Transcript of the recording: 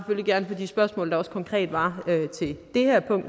gerne på de spørgsmål der også konkret var til det her punkt